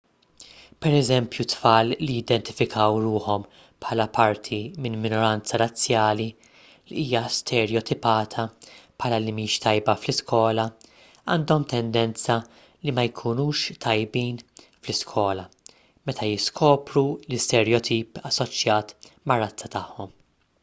pereżempju tfal li jidentifikaw ruħhom bħala parti minn minoranza razzjali li hija sterjotipata bħala li mhix tajba fl-iskola għandhom tendenza li ma jkunux tajbin fl-iskola meta jiskopru l-isterjotip assoċjat mar-razza tagħhom